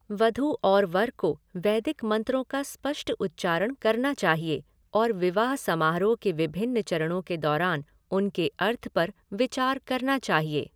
वधू और वर को वैदिक मंत्रों का स्पष्ट उच्चारण करना चाहिए और विवाह समारोह के विभिन्न चरणों के दौरान उनके अर्थ पर विचार करना चाहिए।